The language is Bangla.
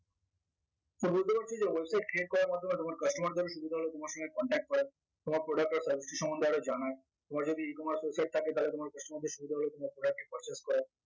তো বুঝতে পারছি যে website create করার মাধ্যমে তোমার customer দের সুবিধা হল তোমার সঙ্গে contact করার তোমার product or service টি সম্বন্ধে আরো জানার তোমার যদি ecommerce website থাকে তালে তোমার customer দের সুবিধা হল তোমার product টি purchase করার